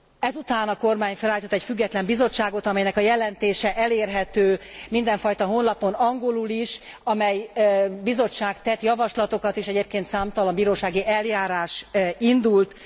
Ezután a kormány felállított egy független bizottságot, amelynek a jelentése elérhető mindenfajta honlapon angolul is, amely bizottság tett javaslatokat és egyébként számtalan bírósági eljárás indult.